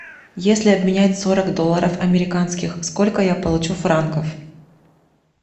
если обменять сорок долларов американских сколько я получу франков